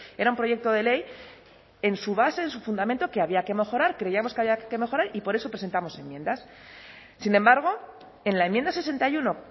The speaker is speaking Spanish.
era un proyecto de ley en su base en su fundamento que había que mejorar creíamos que había que mejorar y por eso presentamos enmiendas sin embargo en la enmienda sesenta y uno